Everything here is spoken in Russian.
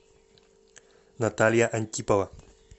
наталья антипова